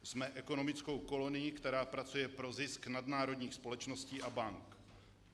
Jsme ekonomickou kolonií, která pracuje pro zisk nadnárodních společností a bank.